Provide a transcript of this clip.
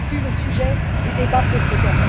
Ce fut le sujet du débat précédent.